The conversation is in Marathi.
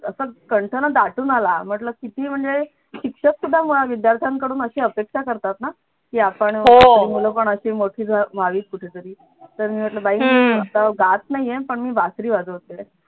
असा कंठ ना दाटून आला म्हटलं किती म्हणजे शिक्षक सुद्धा मुळात विद्यार्थ्यांकडून अशी अपेक्षा करतात ना की आपण मुलं पण अशी मोठी व्हावीत कुठे तरी तर मी म्हटलं बाई मी आता गात नाहीये पण मी बासरी वाजवते